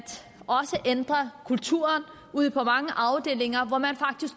ændre kulturen ude på mange afdelinger